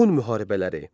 Pun müharibələri.